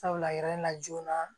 Sabula yirɛla joona